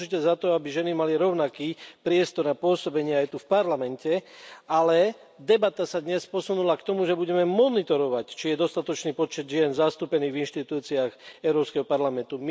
Som určite za to, aby ženy mali rovnaký priestor a pôsobenie aj tu v Parlamente, ale debata sa dnes posunula k tomu, že budeme monitorovať, či je dostatočný počet žien zastúpený v inštitúciách Európskeho parlamentu.